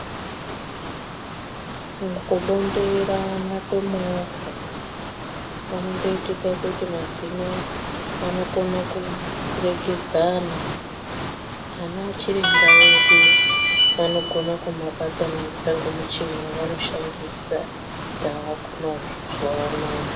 Mukubonderana kwemovha kutoite kuti mazino anogone kuregedzana ana chiremba vanokona kabatanidza ngemuchini yavanoshandisa dzavako mazuwa anaya.